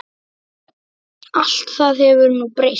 Allt það hefur nú breyst.